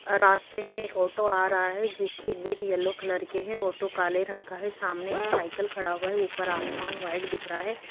रास्ते में एक ऑटो आ रहा है जिसकी बीट येलो कलर के है ऑटो काले रंग का है सामने एक साइकिल खड़ा हुआ है ऊपर आसमान व्हाइट दिख रहा है।